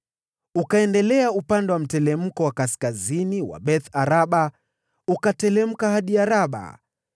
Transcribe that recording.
Ukaendelea upande wa mteremko wa kaskazini wa Beth-Araba ukateremka hadi Araba.